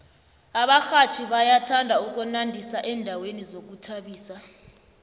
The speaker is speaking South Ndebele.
abarhatjhi bayathanda ukunandisa endaweni zokuzithabisa